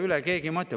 Sellele keegi ei mõtle.